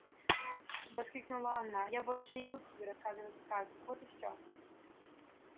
воскликнула она я больше не буду тебе рассказывать сказок вот и всё